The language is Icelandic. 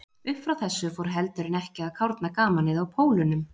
Uppfrá þessu fór heldur en ekki að kárna gamanið í Pólunum.